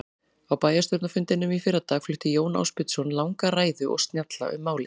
Á bæjarstjórnarfundinum í fyrradag flutti Jón Ásbjörnsson langa ræðu og snjalla um málið.